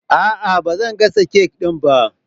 Aa, bazan gasa kek ɗin ba